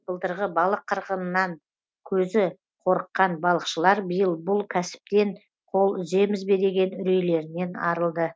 былтырғы балық қырғынынан көзі қорыққан балықшылар биыл бұл кәсіптен қол үземіз бе деген үрейлерінен арылды